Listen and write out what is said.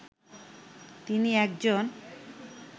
তিনি একজন